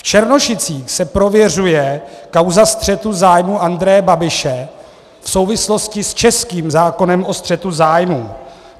V Černošicích se prověřuje kauza střetu zájmů Andreje Babiše v souvislosti s českým zákonem o střetu zájmů.